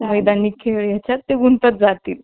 मैदानी खेळ आहे त्यात गुंतत जातील